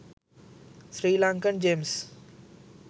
sri lankan gems